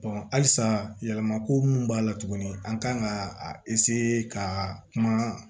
halisa yɛlɛma ko mun b'a la tuguni an kan ka ka kuma